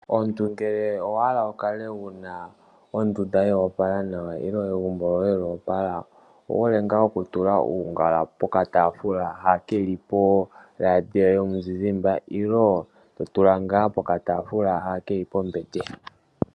Omuntu ngele owa hala wu kale wuna ondunda yo opala nawa nenge egumbo lyoye lyo opala, owu hole ngaa ho tula uungala pokatafuula ha keli poradio yomuzizimba nenge to tula nga pokatafuula ha ke li pombete.